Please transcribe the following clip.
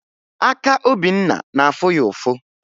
Aka Obinna na-afụ ya ụfụ